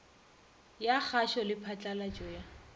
ya kgašo le phatlalatšo ya